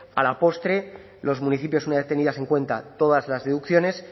a la postre los municipios una vez tenidas en cuenta todas las deducciones